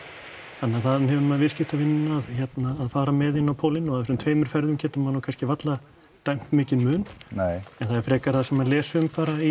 þannig að þaðan hefur maður viðskiptavinina að fara með inn á pólinn og af þessum tveimur ferðum getur maður nú kannski varla dæmt mikinn mun nei en það er frekar það sem maður les um bara í